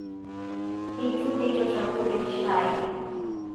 Eitu eitosha kule shai